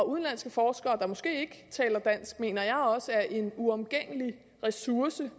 udenlandske forskere der måske ikke taler dansk mener jeg også er en uomgængelig ressource